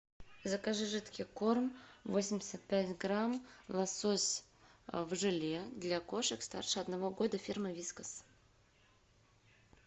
закажи жидкий корм восемьдесят пять грамм лосось в желе для кошек старше одного года фирмы вискас